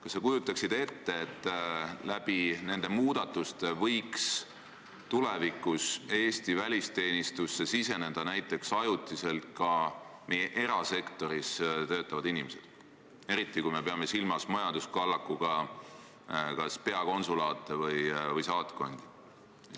Kas sa kujutaksid ette, et nende muudatuste tõttu võiksid tulevikus Eesti välisteenistusse tulla näiteks ajutiselt ka erasektoris töötavad inimesed, eriti kui me peame silmas majanduskallakuga kas peakonsulaate või saatkondi?